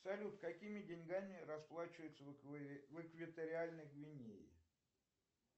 салют какими деньгами расплачиваются в экваториальной гвинее